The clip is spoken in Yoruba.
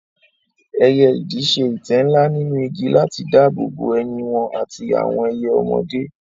Ẹyẹ idì ṣe ìtẹ́ ńlá nínú igi láti dáàbò bo ẹyin wọn àti àwọn ẹyẹ ọmọdé.